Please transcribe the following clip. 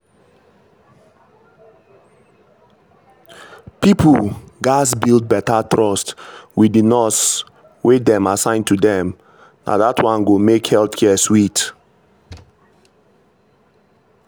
people gatz build better trust wit di nurse wey dem assign to dem na dat one go make health care sweet.